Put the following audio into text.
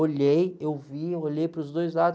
Olhei, eu vi, olhei para os dois lados.